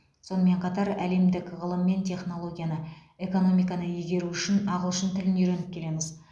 сонымен қатар әлемдік ғылым мен технологияны экономиканы игеру үшін ағылшын тілін үйреніп келеміз